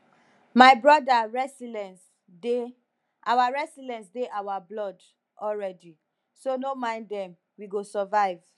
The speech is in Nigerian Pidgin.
my broda resilience dey our resilience dey our blood already so no mind dem we go survive